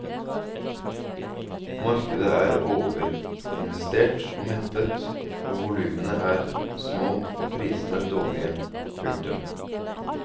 Markedet er overinvestert og mettet og volumene er små og prisene dårlige. punktum